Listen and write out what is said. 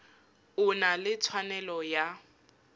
o na le tshwanelo ya